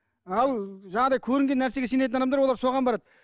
ал жаңағыдай көрінген нәрсеге сенетін адамдар олар соған барады